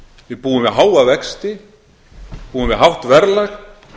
við búum við háa vexti við búum við hátt verðlag